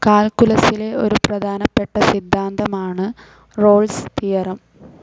കാൽകുലസിലെ ഒരു പ്രധാനപ്പെട്ട സിദ്ധാന്തമാണു് റോൾസ്‌ തിയറി